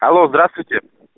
алло здравствуйте